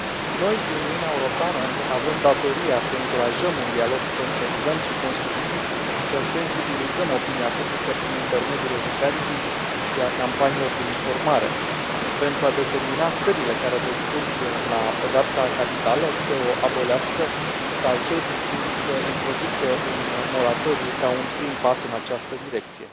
Noi, Uniunea Europeană, avem datoria să încurajăm un dialog consecvent și constructiv, să sensibilizăm opinia publică prin intermediul educației și al campaniilor de informare, pentru a determina țările care recurg la pedeapsa capitală să o abolească sau, cel puțin, să introducă un moratoriu, ca un prim pas în această direcție.